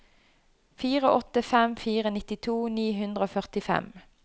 fire åtte fem fire nittito ni hundre og førtifem